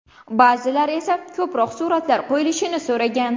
Ba’zilar esa ko‘proq suratlar qo‘yilishini so‘ragan.